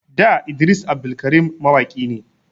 Da Idris Abdulkarim mawaki ne